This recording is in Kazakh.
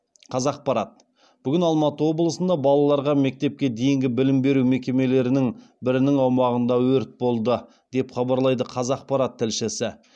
қазақпарат бүгін алматы облысында балаларға мектепке дейінгі білім беру мекемелерінің бірінің аумағында өрт болды деп хабарлайды қазақпарат тілшісі